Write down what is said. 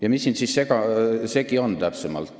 Ja mis siin täpsemalt segi on?